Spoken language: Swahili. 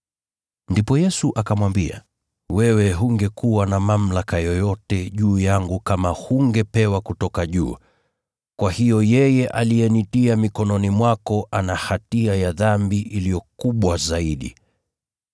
Ndipo Yesu akamwambia, “Wewe hungekuwa na mamlaka yoyote juu yangu kama hungepewa kutoka juu. Kwa hiyo yeye aliyenitia mikononi mwako ana hatia ya dhambi iliyo kubwa zaidi.”